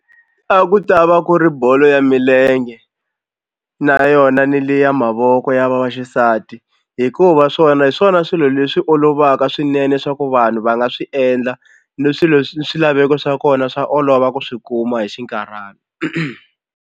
A ku ta va ku ri bolo ya milenge na yona ni leya mavoko ya va vaxisati hikuva swona hi swona swilo leswi olovaka swinene swa ku vanhu va nga swi endla ni swilo swilaveko swa kona swa olova ku swi kuma hi xinkarhana.